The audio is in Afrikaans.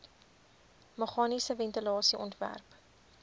meganiese ventilasie ontwerp